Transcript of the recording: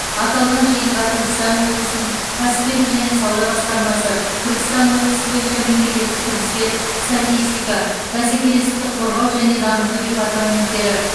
аталған жиынға түркістан облысының кәсіпкерлік және сауда басқармасы түркістан облысы бойынша мемлекеттік кірістер статистика бәсекелестікті қорғау және дамыту департаменттері